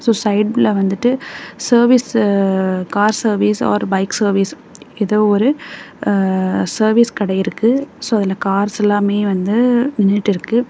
So சைடுல வந்துட்டு service car service or bike service எதோ ஒரு சர்வீஸ் கடை இருக்கு சோ அதுல கார்ஸ்லாமே வந்து நின்னுட்டுருக்கு.